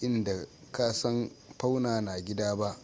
in da ka a san fauna na gida ba